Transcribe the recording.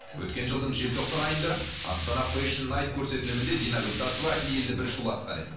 өткен жылдың желтоқсан айында астана фэшн найт көрсетілімінде диангүл тасова елді бір шулатқан еді